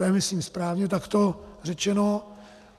To je myslím správně takto řečeno.